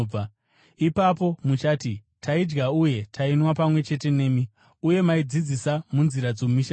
“Ipapo muchati, ‘Taidya uye tainwa pamwe chete nemi, uye maidzidzisa munzira dzomumisha yedu.’